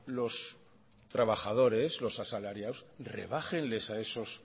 los trabajadores los asalariados rebájenles a esos